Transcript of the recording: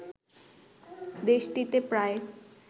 দেশটিতে প্রায়